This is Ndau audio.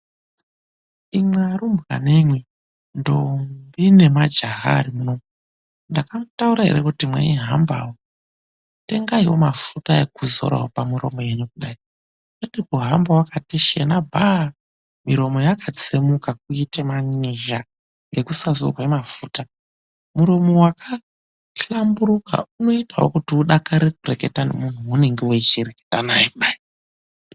Imwi arumbwanemwi, ndombi nemajaha arimuno, ndakamutaurirawo ere kuti mweihamba tengaiwo mafuta ekudzora pamuromo wenyu kudai. Haiwa kuhamba wakati shena bhaa ,muromo wakatsemuka kuite man'izha ngekusadzorwe mafuta. Muromo wakahlamburuka unoitawo kuti udakare kureketa nemuntu waunenge weireketa naye kudai.